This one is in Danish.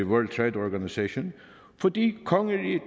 world trade organization fordi kongeriget